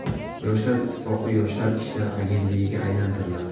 Yoshlar ittifoqi Yoshlar ishlari agentligiga aylantiriladi.